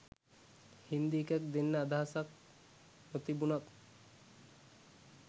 හින්දි එකක් දෙන්න අදහසක් නොතිබුණත්